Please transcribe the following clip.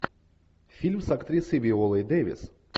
фильм с актрисой виолой дэвис